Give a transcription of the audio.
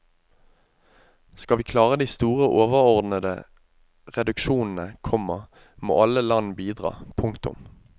Skal vi klare de store overordnede reduksjonene, komma må alle land bidra. punktum